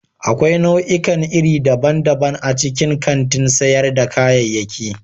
Akwai nau'ikan iri daban-daban a cikin kantin sayar da kayayyaki.